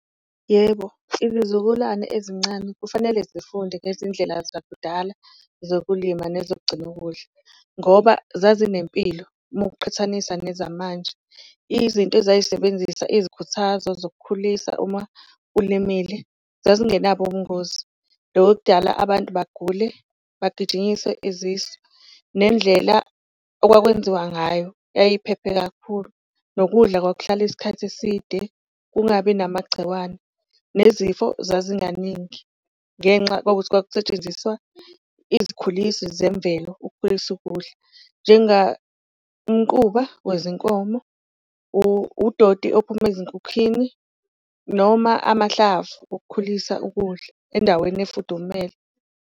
Yebo, izizukulwane ezincane kufanele zifunde ngezindlela zakudala zokulima nezokugcina ukudla ngoba zazinempilo uma ukuqhathanisa nezamanje, izinto ezayisebenzisa izikhuthazo zokukhulisa uma ulimile zazingenabo ubungozi, loku okudala abantu bagule bagijimiswe izisu. Nendlela okwakwenziwa ngayo yayiphephe kakhulu nokudla kwakuhlala isikhathi eside, kungabi namagciwane, nezifo zazinganingi ngenxa kwakukuthi kwakusetshenziswa izikhulisi zemvelo ukukhulisa ukudla. umquba wezinkomo, udoti ophuma ezinkukhini noma amahlavu okukhulisa ukudla endaweni efudumele.